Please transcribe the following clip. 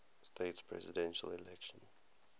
states presidential election